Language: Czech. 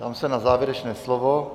Ptám se na závěrečné slovo.